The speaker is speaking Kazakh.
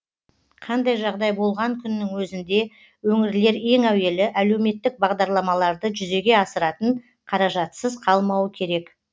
қандай жағдай болған күннің өзінде өңірлер ең әуелі әлеуметтік бағдарламаларды жүзеге асыратын қаражатсыз қалмауы керек